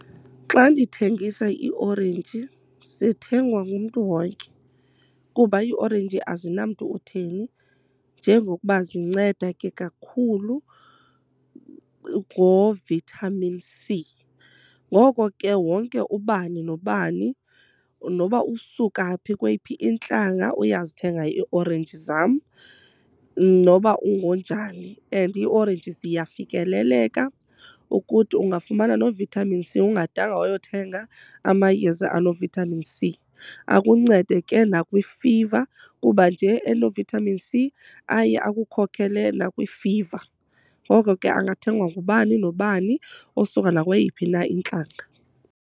Xa ndithengisa iiorenji zithengwa ngumntu wonke kuba iorenji azinamntu utheni njengokuba zinceda ke kakhulu ngoVitamin C. Ngoko ke wonke ubani nobani noba usuka phi kweyiphi intlanga uyazithenga iiorenji zam noba ungonjani. And iiorenji ziyafikeleleka ukuthi ungafumana noVitamin C ungadanga wayothenga amayeza anoVitamin C, akuncede ke nakwifiva kuba nje enoVitamin C aye akukhokhelela nakwifiva. Ngoko ke angathengwa ngubani nobani osuka nakweyiphi na intlanga.